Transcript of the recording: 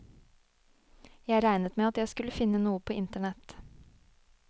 Jeg regnet med at jeg skulle finne noe på internett.